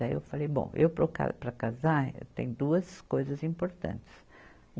Daí eu falei, bom, eu para eu ca, para casar, eu tenho duas coisas importantes.